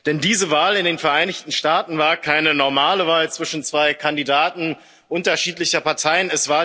Denn diese Wahl in den Vereinigten Staaten war keine normale Wahl zwischen zwei Kandidaten unterschiedlicher Parteien.